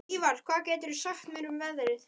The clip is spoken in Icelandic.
Ívar, hvað geturðu sagt mér um veðrið?